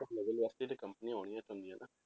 ਉਸ level ਵਾਸਤੇ ਤੇ ਕੰਪਨੀਆਂ ਆਉਣੀਆਂ ਪੈਂਦੀਆਂ ਨਾ,